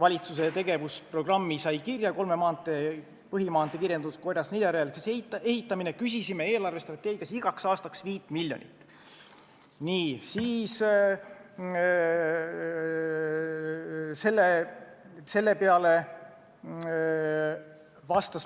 valitsuse tegevusprogrammi sai kirja kolme põhimaantee kiirendatud korras neljarajaliseks ehitamine, küsisid nad eelarvestrateegias igaks aastaks 5 miljonit eurot.